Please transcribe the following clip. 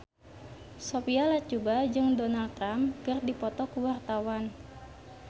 Sophia Latjuba jeung Donald Trump keur dipoto ku wartawan